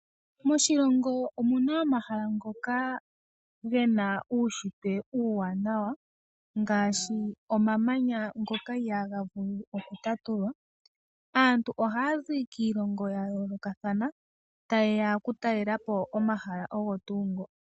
Moshilongo omuna omahala ngoka gena uushitwe uuwanawa ngaashi omamanya ngoka ihaaga vulu oku tatulwa. Aantu ohaya zi kiilongo ya yoolokathana tayeya oku talelapo omahala ogo tuu ngoka.